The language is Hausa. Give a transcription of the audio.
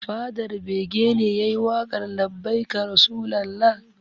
Fadar bege ne yayi waƙar 'labbaika rasulalla'